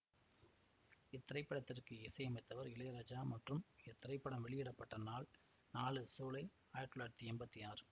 இத்திரைப்படத்திற்கு இசையமைத்தவர் இளையராஜா மற்றும் இத்திரைப்படம் வெளியிட பட்ட நாள் நாலு சூலை ஆயிரத்தி தொள்ளாயிரத்தி எம்பத்தி ஆறு